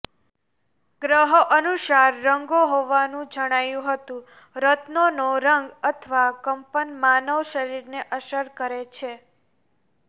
ગ્રહો અનુરૂપ રંગો હોવાનું જણાયું હતું રત્નોનો રંગ અથવા કંપન માનવ શરીરને અસર કરે છે